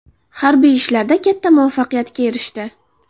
Harbiy ishlarda katta muvaffaqiyatga erishdi.